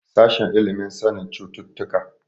Sashen ilimin sanin cututtuka.